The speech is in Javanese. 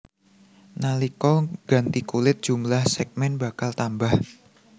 Nalika ganti kulit jumlah sègmèn bakal tambah